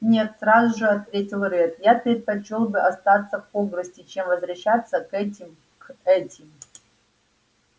нет сразу же ответил реддл я предпочёл бы остаться в хогвартсе чем возвращаться к этим к этим